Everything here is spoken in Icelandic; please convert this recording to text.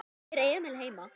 Er Emil heima?